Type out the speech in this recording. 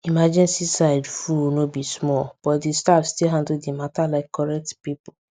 emergency side full no be small but the staff still handle the matter like correct people